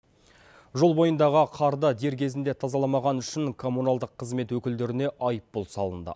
жол бойындағы қарды дер кезінде тазаламағаны үшін коммуналдық қызмет өкілдеріне айыппұл салынды